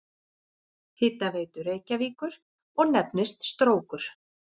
Hitaveitu Reykjavíkur og nefnist Strókur.